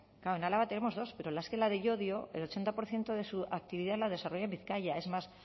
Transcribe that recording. claro en álava tenemos dos pero es que la de llodio el ochenta por ciento de su actividad la desarrolla en bizkaia es más